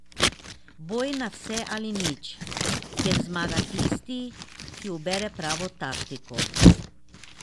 Boj na vse ali nič, kjer zmaga tisti, ki ubere pravo taktiko.